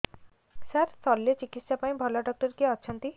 ସାର ଶଲ୍ୟଚିକିତ୍ସା ପାଇଁ ଭଲ ଡକ୍ଟର କିଏ ଅଛନ୍ତି